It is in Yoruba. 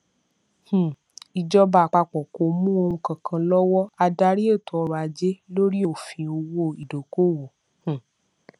um ìjọba àpapọ kò mú ohun kankan lọwọ adarí ètòọrọajé lóri òfin owó ìdókòówò um